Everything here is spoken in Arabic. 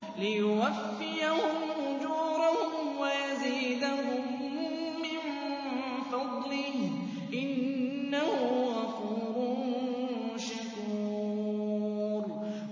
لِيُوَفِّيَهُمْ أُجُورَهُمْ وَيَزِيدَهُم مِّن فَضْلِهِ ۚ إِنَّهُ غَفُورٌ شَكُورٌ